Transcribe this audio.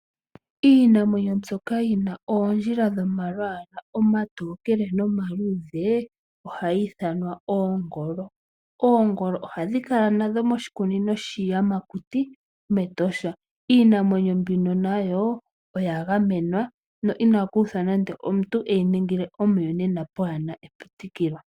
Iinamwenyo mbyoka yina oondjila dhomalwala omatokele nomaluuudhe ohadhi ithanwa oongolo . Oongolo ohadhi kala nadho moshikunino shiiyakuti Iinamwenyo mEtosha. Iinamwenyo mbino nayo oya gamenwa no inaku uthwa nande omuntu eyi ningile nande omuyonena kapuna epitikolo.